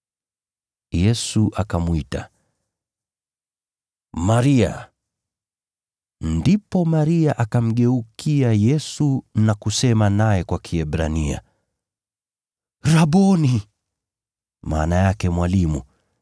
Yesu akamwita, “Maria!” Ndipo Maria akamgeukia Yesu na kusema naye kwa Kiebrania, “Rabboni!” (maana yake Mwalimu).